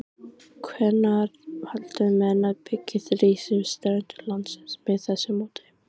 Hvenær halda menn að byggð rísi við strendur landsins með þessu móti?